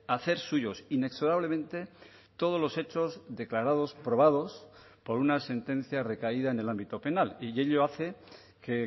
hacer suyos inexorablemente todos los hechos declarados probados por una sentencia recaída en el ámbito penal y ello hace que